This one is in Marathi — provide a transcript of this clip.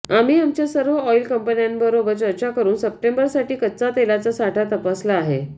आम्ही आमच्या सर्व ऑईल कंपन्यांबरोबर चर्चा करून सप्टेंबरसाठी कच्च्या तेलाचा साठा तपासला आहे